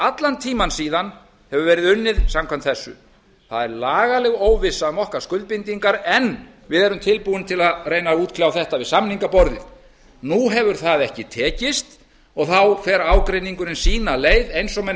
allan tímann síðan hefur verið unnið samkvæmt þessu það er lagaleg óvissa um okkar skuldbindingar en við erum tilbúin til að reyna að útkljá þetta við samningaborðið nú hefur það ekki tekist og þá fer ágreiningurinn sína leið eins og menn